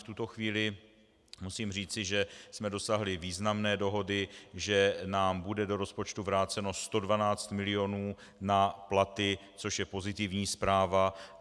V tuto chvíli musím říci, že jsme dosáhli významné dohody, že nám bude do rozpočtu vráceno 112 mil. na platy, což je pozitivní zpráva.